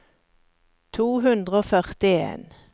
to hundre og førtien